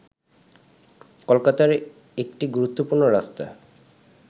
কলকাতার একটি গুরুত্বপূর্ণ রাস্তা